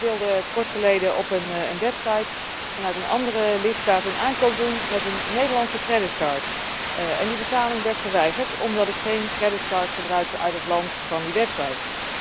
Ik wilde kortgeleden op een website vanuit een andere lidstaat een aankoop doen met een Nederlandse kredietkaart en die betaling werd geweigerd omdat ik geen kredietkaart gebruikte uit het land van die website.